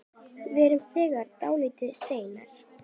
Við erum þegar dálítið seinir.